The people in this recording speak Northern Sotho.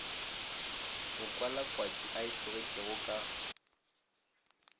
mokwalakwatši a e tlogetšego ka